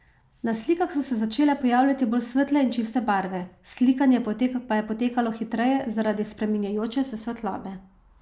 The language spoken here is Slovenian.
Na slikah so se začele pojavljati bolj svetle in čiste barve, slikanje pa je potekalo hitreje zaradi spreminjajoče se svetlobe.